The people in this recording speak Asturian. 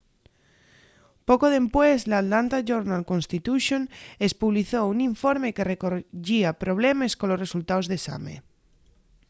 poco dempués l'atlanta journal-constitution espublizó un informe que recoyía problemes colos resultaos d'esame